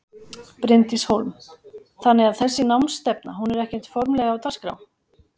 Bryndís Hólm: Þannig að þessi námsstefna hún er ekkert formlegra á dagskrá?